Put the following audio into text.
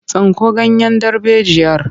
Tsinko ganyen darbejiyar!